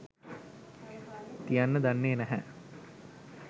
තියන්න දන්නෙ නැහැ.